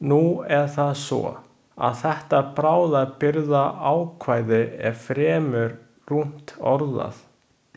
Nú er það svo, að þetta bráðabirgðaákvæði er fremur rúmt orðað.